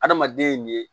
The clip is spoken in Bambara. Adamaden ye nin ye